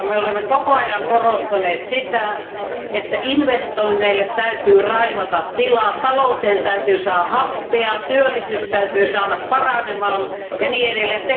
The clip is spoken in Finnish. Olemme koko ajan korostaneet sitä, että investoinneille täytyy raivata tilaa, talouteen täytyy saada happea, työllisyys täytyy saada paranemaan ja niin edelleen.